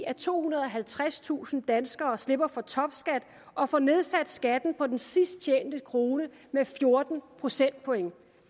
at tohundrede og halvtredstusind danskere slipper for topskat og får nedsat skatten på den sidst tjente krone med fjorten procentpoint